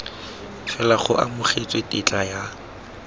fela go amogetswe tetla ya